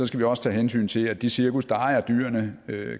skal vi også tage hensyn til at de cirkus der ejer dyrene